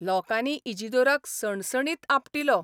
लोकांनी इजिदोराक सणसणीत आपटिलो.